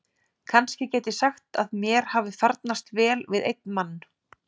Kannski get ég sagt að mér hafi farnast vel við einn mann.